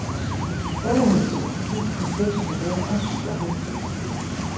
otteoghalvfems tusind seks hundrede og syvoghalvtreds